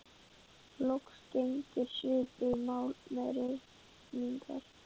Loks gegnir svipuðu máli með reykingar.